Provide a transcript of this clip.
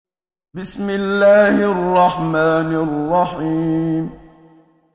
بِسْمِ اللَّهِ الرَّحْمَٰنِ الرَّحِيمِ